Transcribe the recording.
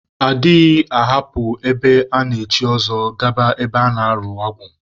A dịghị ahapụ ebe a na-echi ọzọ, gaba ebe a na-arụ agwụ